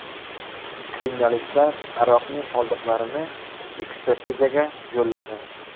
Kriminalistlar aroqning qoldiqlarini ekspertizaga yo‘lladi.